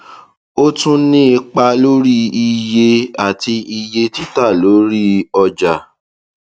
ó tún ní ipa lórí iye orí àti iye títà lórí ọjà